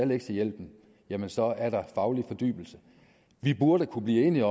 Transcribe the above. lektiehjælpen jamen så er der faglig fordybelse vi burde kunne blive enige